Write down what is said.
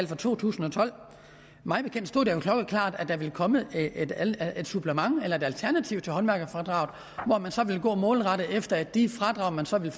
fra to tusind og tolv klokkeklart at der ville komme et supplement eller et alternativ til håndværkerfradraget hvor man så ville gå målrettet efter at de fradrag der så ville